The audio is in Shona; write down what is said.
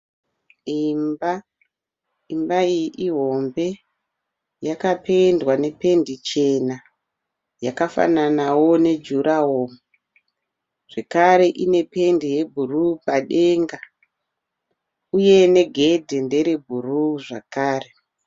Imba, imba iyi ihombe yakapendwa nependi chena yakafananawo nejurahoro zvekare inependi yebhuru padenga uye negedhi nderebhuru zvakare.